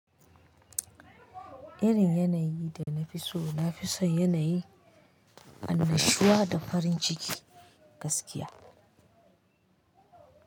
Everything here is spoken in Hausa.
Irin yanayi da na fi so, na fi son yanayi annashuwa da farin ciki gaskiya.